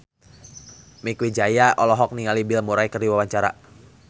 Mieke Wijaya olohok ningali Bill Murray keur diwawancara